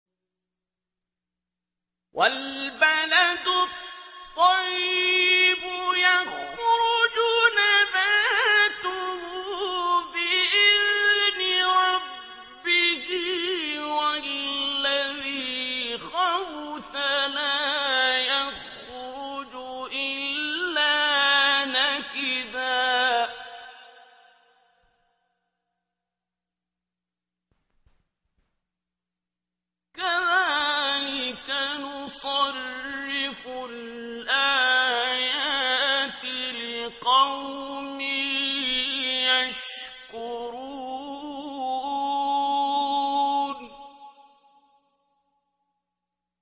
وَالْبَلَدُ الطَّيِّبُ يَخْرُجُ نَبَاتُهُ بِإِذْنِ رَبِّهِ ۖ وَالَّذِي خَبُثَ لَا يَخْرُجُ إِلَّا نَكِدًا ۚ كَذَٰلِكَ نُصَرِّفُ الْآيَاتِ لِقَوْمٍ يَشْكُرُونَ